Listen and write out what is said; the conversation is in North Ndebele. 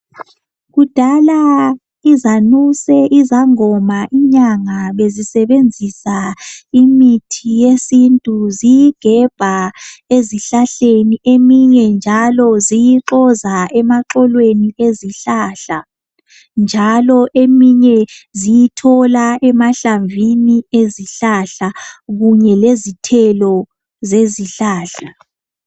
Kudala izanuse, izangoma, inyanga bezisebenzisa imithi yesintu ziyigebha ezihlahleni eminye njalo ziyixoza emaxokweni ezihlahla, njalo eminye ziyithola emahlamvini ezihlahla kunye lezithelo zezihlahla.